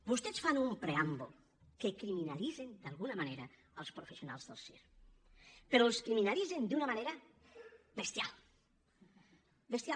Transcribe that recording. vostès fan un preàmbul en què criminalitzen d’alguna manera els professionals del circ però els criminalitzen d’una manera bestial bestial